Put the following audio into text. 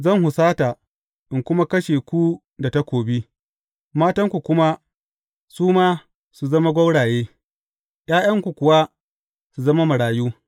Zan husata, in kuma kashe ku da takobi; matanku kuma, su ma su zama gwauraye, ’ya’yanku kuwa su zama marayu.